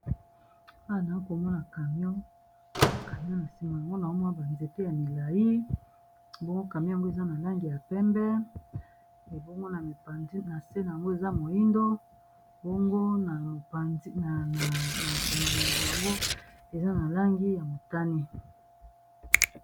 wana a komona camion camion na sima yango na omwa banzete ya milai mbongo camion yango eza na langi ya pembe ebongo na mipanzi na se na yango eza moindo mbango na mopanzi na ekoma milina yango eza na langi ya motani